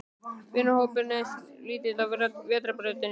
Vinahópurinn er eins og dálítil vetrarbraut.